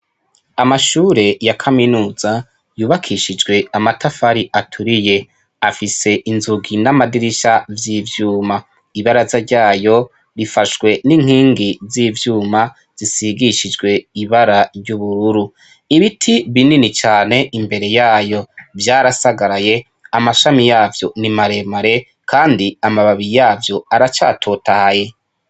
Amashure ya kaminuza yubakishijwe amatafari aturiye ,afise inzugi n'amadirisha vy'ivyuma ibaraza ryayo bifashwe n'inkingi z'ivyuma zisigishijwe ibara ry'ubururu ibiti binini cane imbere yayo vyarasagaraye amashami yavyo nimaremare kandi amababi yavyo aracatotahaye